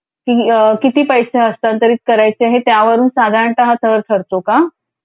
किती पैसे हस्तांतरित करायचे हे त्यावरून साधारणता हा सर ठरतो का.?